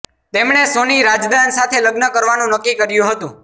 તેમણે સોની રાઝદાન સાથે લગ્ન કરવાનું નક્કી કર્યું હતું